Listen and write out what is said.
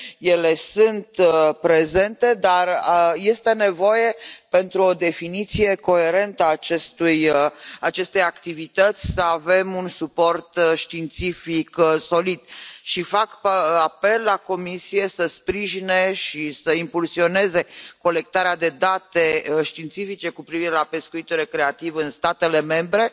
Ele sunt prezente, dar este nevoie, pentru o definiție coerentă a acestei activități, să avem un suport științific solid. Și fac apel la Comisie să sprijine și să impulsioneze colectarea de date științifice cu privire la pescuitul recreativ în statele membre